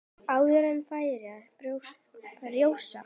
Áður en færi að frjósa.